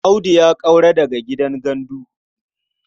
Audu ya ƙaura daga gidan gandu.